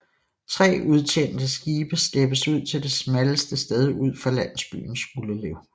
Tre udtjente skibe slæbes ud til det smalleste sted ud for landsbyen Skuldelev